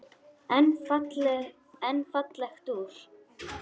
En fallegt úr.